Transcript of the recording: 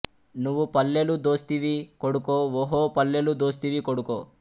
నువు పల్లెలు దోస్తివి కొడుకో ఓహో పల్లెలు దోస్తివి కొడుకో